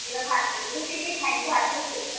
খেয়েছিলাম ভাত দিয়ে রুটি দিয়ে খাইনি ভাত দিয়েই খেয়েছিলাম